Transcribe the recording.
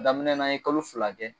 Daminɛ na an ye kalo fila kɛ